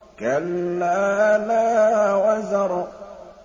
كَلَّا لَا وَزَرَ